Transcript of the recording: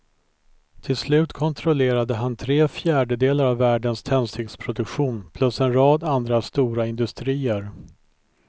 Till slut kontrollerade han tre fjärdedelar av världens tändsticksproduktion plus en rad andra stora industrier.